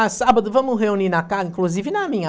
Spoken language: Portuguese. Ah, sábado vamos reunir na casa, inclusive na minha.